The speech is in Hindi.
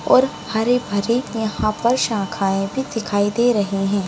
और हरे-भरे यहाँ पर शाखाएं भी दिखाई दे रही है।